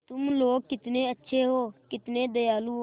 तुम लोग कितने अच्छे हो कितने दयालु हो